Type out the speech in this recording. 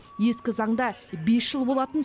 ескі заңда бес жыл болатын